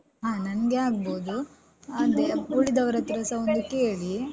ಹ ನಂಗೆ ಆಗ್ಬೋದು ಅದೇ ಉಳಿದವರತ್ರ ಸ ಒಮ್ಮೆ ಕೇಳಿ.